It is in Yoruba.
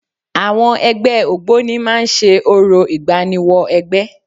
Àwọn ẹgbẹ́ Ògboni máa ń ṣe orò ìgbáníwọ-ẹgbẹ́.